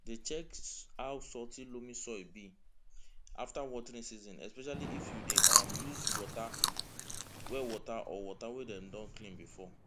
dey check how salty loamy soil be after watering season especially if you dey um use well water or water wey dem don clean before